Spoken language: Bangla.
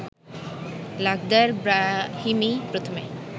লাখদার ব্রাহিমি প্রথমে